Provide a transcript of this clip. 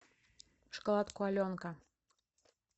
шоколадку аленка